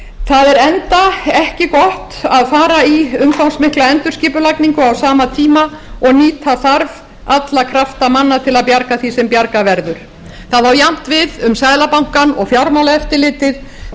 það er enda ekki gott að fara í umfangsmikla endurskipulagningu á sama tíma og nýta þarf alla krafta manna til að bjarga því sem bjargað verður það á jafnt við um seðlabankann og fjármálaeftirlitið því eins og fulltrúar